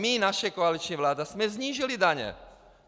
My, naše koaliční vláda, jsme snížili daně.